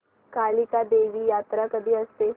कालिका देवी यात्रा कधी असते